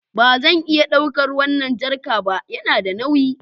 Ba zan iya ɗaukar wannan jerica, yana da nauyi